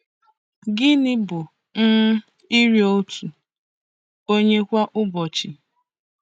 Gịnị bụ um nri otu onye kwa ụbọchị?